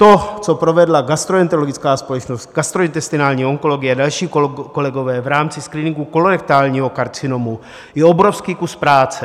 To, co provedla gastroenterologická společnost, gastrointestinální onkologie a další kolegové v rámci screeningu kolorektálního karcinomu, je obrovský kus práce.